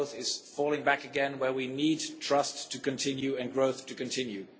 growth is falling back again where we need trust and growth to continue.